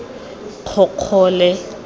kgokgole